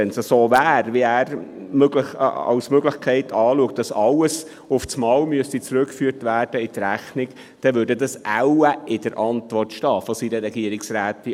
Wenn es so wäre, wie er es als Möglichkeit sieht, dass alles auf einmal in die Rechnung zurückgeführt werden müsste, würde das ja wohl in der Antwort seiner Regierungsrätin stehen.